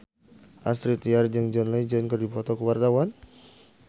Astrid Tiar jeung John Legend keur dipoto ku wartawan